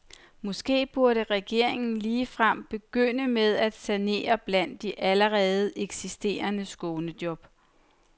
Måske burde regeringen ligefrem begynde med at sanere blandt de allerede eksisterende skånejob.